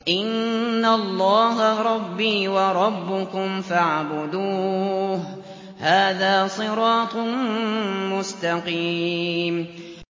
إِنَّ اللَّهَ رَبِّي وَرَبُّكُمْ فَاعْبُدُوهُ ۗ هَٰذَا صِرَاطٌ مُّسْتَقِيمٌ